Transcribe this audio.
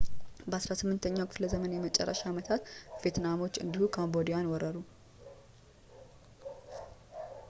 በ18ኛው ክፍለ ዘመን የመጨረሻ ዓመታት ቪየትናሞች እንዲሁ ካምቦዲያን ወረሩ